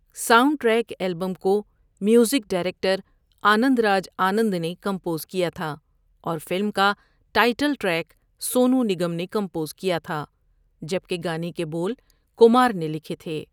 Sound track album کو music director Anand Raj Anand نے compose کیا تھا اور فلم کا ٹائٹل ٹریک سونو نگم نے کمپوز کیا تھا جبکہ گانے کے بول کمار نے لکھے تھے۔